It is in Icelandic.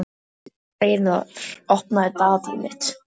Hreiðar, opnaðu dagatalið mitt.